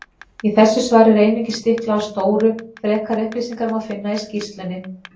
Í þessu svari er einungis stiklað á stóru, frekari upplýsingar má finna í skýrslunni.